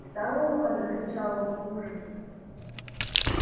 старуха закричал он в ужасе